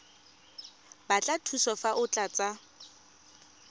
batla thuso fa o tlatsa